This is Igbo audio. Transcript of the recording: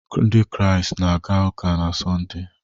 Ndị Kraịst na-aga ụka na Sọnde